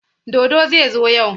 Dodo zai zo yau.